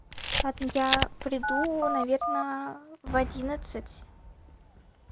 поэтому я приду наверное в одиннадцать